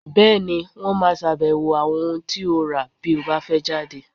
Bẹ́ẹ̀ni, Wọ́n máa ṣàbẹ̀wò àwọn ohun tí ó rà bí o bá fẹ́ jáde.